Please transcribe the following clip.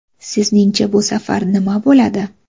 Sizningcha bu safar nima bo‘ladi?